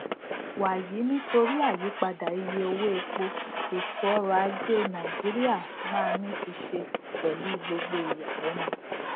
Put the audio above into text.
wàyí nitori àyípadà iye owó epo ètò ọrọ ajé nàìjíríà máa ní fiṣe pẹlú gbogbo ìyàlénu